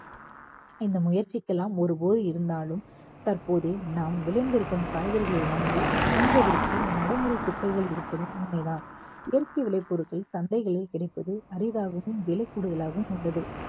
இந்த முயற்சிக்கெல்லாம் ஒருபோது இருந்தாலும் தற்போதே நாம் விளைந்து இருக்கும் காய்கறிகளை வாங்கி உண்பதற்கு நடைமுறை சிக்கல்கள் இருப்பதும் உண்மைதான் இயற்கை விலை பொருட்கள் சந்தைகளில் கிடைப்பது அரிதாகவும் விலை கூடுதலாகவும் உள்ளது